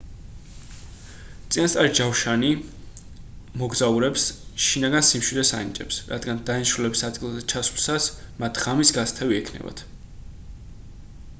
წინასწარი ჯავშარი მოგზაურებს შინაგან სიმშვიდეს ანიჭებს რადგან დანიშნულების ადგილზე ჩასვლისას მათ ღამის გასათევი ექნებათ